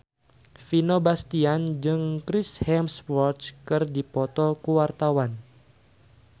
Vino Bastian jeung Chris Hemsworth keur dipoto ku wartawan